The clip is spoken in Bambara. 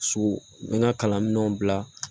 So n bɛ n ka kalanminɛnw bila